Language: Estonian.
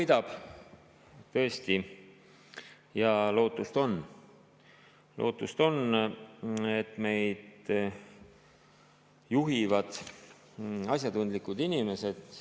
Juba koidab, tõesti, ja lootust on, lootust on, et meid juhivad asjatundlikud inimesed.